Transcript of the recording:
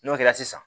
N'o kɛra sisan